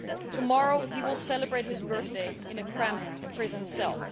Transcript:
Tomorrow he will celebrate his birthday in a cramped prison cell.